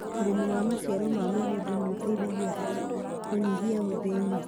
ũrĩmi wa maciaro ma mĩgunda nĩ ũteithagia harĩ kũnyihia ũthĩni.